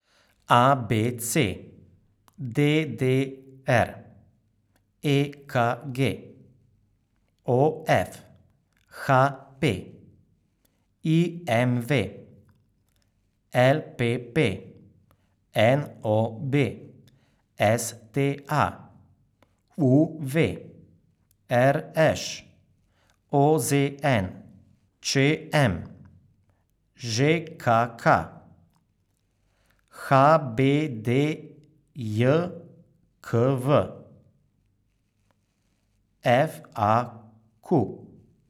A B C; D D R; E K G; O F; H P; I M V; L P P; N O B; S T A; U V; R Š; O Z N; Č M; Ž K K; H B D J K V; F A Q.